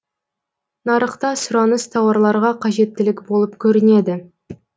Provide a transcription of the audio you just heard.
нарықта сұраныс тауарларға қажеттілік болып көрінеді